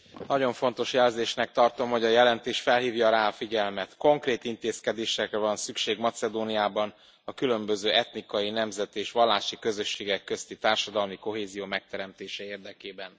Nagyon fontos jelzésnek tartom, hogy a jelentés felhívja rá a figyelmet konkrét intézkedésekre van szükség Macedóniában a különböző etnikai, nemzeti és vallási közösségek közti társadalmi kohézió megteremtése érdekében.